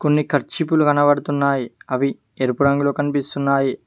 కొన్ని కర్చీఫ్ లు కనబడుతున్నాయి అవి ఎరుపు రంగులో కనిపిస్తున్నాయి.